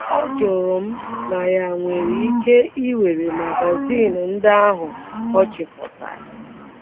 Ọ jụrụ m ma ya um nwere um ike iwere magazin ndị ahụ ọ chịkọtara um.